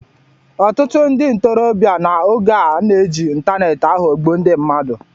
Ọtụtụ ndị ntorobịa n’oge a na-eji ịntaneetị aghọgbu ndị mmadụ